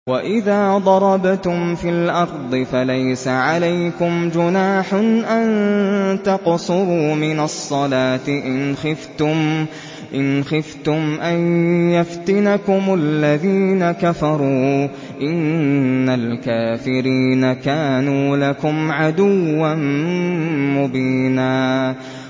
وَإِذَا ضَرَبْتُمْ فِي الْأَرْضِ فَلَيْسَ عَلَيْكُمْ جُنَاحٌ أَن تَقْصُرُوا مِنَ الصَّلَاةِ إِنْ خِفْتُمْ أَن يَفْتِنَكُمُ الَّذِينَ كَفَرُوا ۚ إِنَّ الْكَافِرِينَ كَانُوا لَكُمْ عَدُوًّا مُّبِينًا